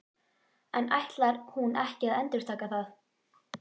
En ætlar hún ekki að endurtaka það?